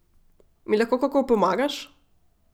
Mi lahko kako pomagaš?